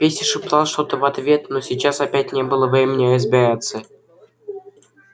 петя шептал что-то в ответ но сейчас опять не было времени разбираться